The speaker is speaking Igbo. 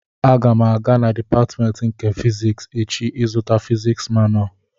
Aga m aga na dịpatmentị nke fiziks echi ịzụta fiziks manua